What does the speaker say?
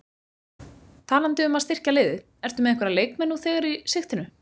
Talandi um að styrkja liðið, ertu með einhverja leikmenn nú þegar í sigtinu?